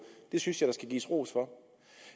det synes jeg der skal gives ros for